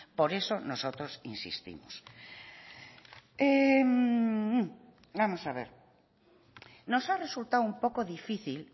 por eso nosotros insistimos vamos a ver nos ha resultado un poco difícil